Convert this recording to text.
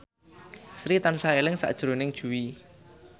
Sri tansah eling sakjroning Jui